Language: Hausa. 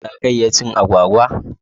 Za ka iya cin agwagwa?